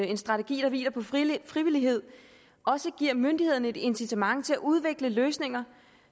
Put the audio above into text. en strategi der hviler på frivillighed også giver myndighederne et incitament til at udvikle løsninger